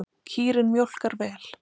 Kýrin mjólkar vel.